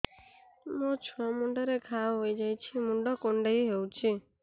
ମୋ ଛୁଆ ମୁଣ୍ଡରେ ଘାଆ ହୋଇଯାଇଛି ମୁଣ୍ଡ କୁଣ୍ଡେଇ ହେଉଛି